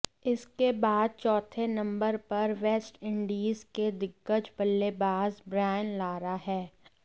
इसके बाद चौथे नंबर पर वेस्टइंडीज के दिग्गज बल्लेबाज ब्रायन लारा हैं